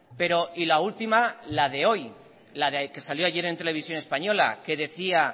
pero y la última la de hoy la de que salió ayer en televisión española que decía